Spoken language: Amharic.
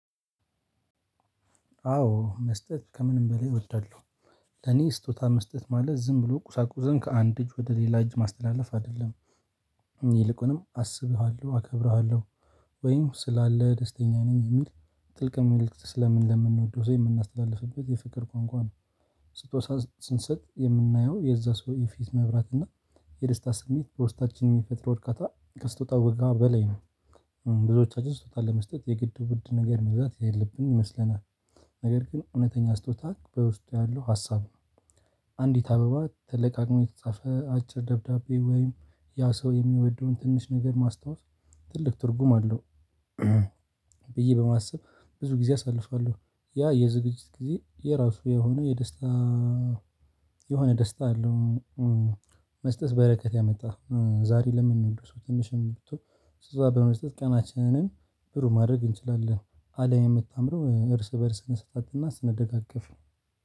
አዎ መስጠት ከምንም በላይ እወዳለሁ። ለኔ ስጦታ መስጠት ማለት ዝም ብሎ ቁሳቁስን ከአንድ እጅ ወደ ሌላ እጅ ማስተላለፍ አይደለም። ይልቁንም አስብሃለሁ አከብረዋለሁ ወይም ስላለ ደስተኛ ነኝ የሚል ጥልቅ መልእክት ስለምንወደው ሰው የምናስተላልፍበት የፍቅር ቋንቋ ነው። ስጦታ ስንሰጥ የምናየው የዛ ሰው የፊት መብራት እና የደስታ ስሜት በውስጣታችን የሚፈጥር በርካታ ከስጦታው በላይ ነው። ብዙዎቻችን ስጦታ ለመስጠት የግድ ውድ ነገር መግዛት ያለብን ይመስለናል። ነገር ግን እውነተኛ ስጦታ በውስጡ ያለው ሀሳብ ነው። አንዲት አበባ ትልቅ አቅም የተጻፈ አጭር ደብዳቤ ወይም ያ ሰው የሚወደውን ትንሽ ነገር ማስታወስ ትልቅ ትርጉም አለው። ብዬ በማሰብ ብዙ ጊዜ አሳልፋለሁ። ያ የዝግጅት ጊዜ የራሱ የሆነ የደስታ የሆነ ደስታ አለው። መስጠት በረከት ያመጣል ዛሬ ለምንወድር ድረስ ትንሽ እንደው እዛ በመጀመሪያ ቀናችንን ብሩህ ማድረግ እንችላለን። አለም የምታምረው እርስ በእርስ ነው ስንሰጣጥ እና ስነደጋገፍ ነው።